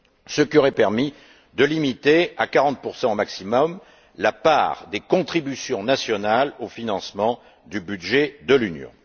ce qui aurait permis de limiter à 40 au maximum la part des contributions nationales au financement du budget de l'Union.